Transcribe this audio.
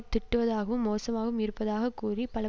திட்டுவதாகவும் மோசமாகவும் இருப்பதாக கூறி பல